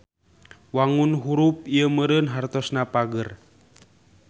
Wangun hurup ieu meureun hartosna pager.